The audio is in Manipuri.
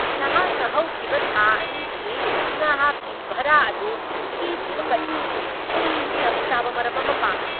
ꯅꯍꯥꯛꯅ ꯍꯧꯈꯤꯕ ꯊꯥ ꯑꯅꯤꯒꯤ ꯅꯍꯥꯛꯀꯤ ꯚꯔꯥ ꯑꯗꯨ ꯊꯤꯗ꯭ꯔꯤꯕ ꯀꯔꯤꯒꯤꯅꯣ? ꯑꯩ ꯆꯞꯆꯥꯕ ꯃꯔꯝ ꯑꯃ ꯄꯥꯝꯃꯤ꯫